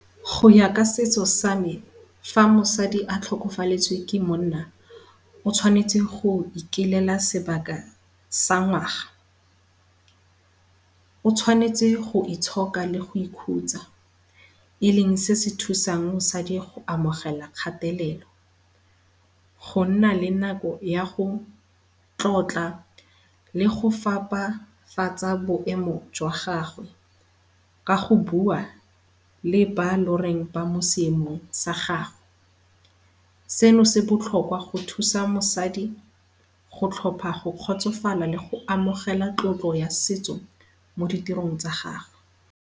Go ya ka setso same fa mosadi a tlhokafaletswe ke monna, o tshwanetse go ikilela sebaka sa ngwaga. O tshwanetse go itshoka le go ikhutsa e leng se sethusang mosadi go amogela kgatelelo. Gonna le nako yago tlotla le go fapafatsa boemo jwa gagwe, ka go bua le bao loreng ba mo seemong sa gagwe. Seno se botlhokwa go thusa mosadi go tlhopha go kgotsofala le go amogela tlotlo ya setso mo ditirong tsa gagwe.